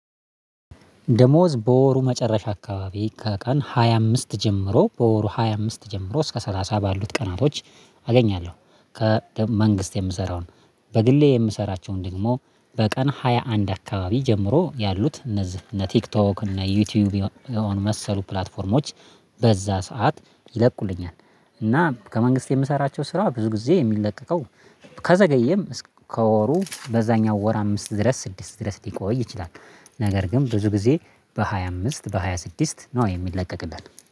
ደሞዝ በወሩ መጨረሻ አካባቢ ከቀን ሃያ አምስት ጀምሮ በወሩ ሃያ አምስት ጀምሮ እስከ ሰላሳ ባሉት ቀናቶች አገኛለሁ። ከመንግስት የምሰራውን በግሌ የምሰራቸውን ደግሞ በቀን ሃያ አንድ አካባቢ ጀምሮ ያሉት እነዚህ እነ ቲክቶክ እነ ዩቲዩብ የሆኑ የመሰሉ ፕላትፎርሞች በዛ ሰዓት ይለቁልኛል። እና ከመንግስት የምሰራቸው ስራ ብዙ ጊዜ የሚለቀቀው ከዘገየም እስከ ወሩ በዛኛው ወር አምስት ድረስ ስድስት ድረስ ሊቆይ ይችላል። ነገር ግን ብዙ ጊዜ በሃያ አምስት በሃያ ስድስት ነው የሚለቀቅልን